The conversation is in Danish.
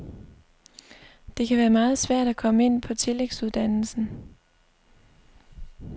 Det kan være meget svært at komme ind på tillægsuddannelsen.